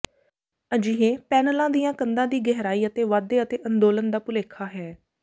ਅਜਿਹੇ ਪੈਨਲਾਂ ਦੀਆਂ ਕੰਧਾਂ ਦੀ ਗਹਿਰਾਈ ਅਤੇ ਵਾਧੇ ਅਤੇ ਅੰਦੋਲਨ ਦਾ ਭੁਲੇਖਾ ਹੈ